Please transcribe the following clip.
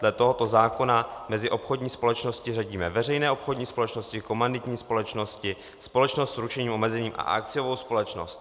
Dle tohoto zákona mezi obchodní společnosti řadíme veřejné obchodní společnosti, komanditní společnosti, společnost s ručením omezeným a akciovou společnost.